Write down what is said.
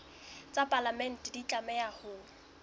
tsa palamente di tlameha ho